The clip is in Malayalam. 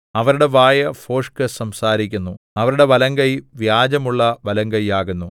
അവരുടെ വായ് ഭോഷ്ക് സംസാരിക്കുന്നു അവരുടെ വലങ്കൈ വ്യാജമുള്ള വലങ്കയ്യാകുന്നു